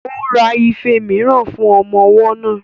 Ó ra ife mìíràn fún ọmọ ọwọ́ náà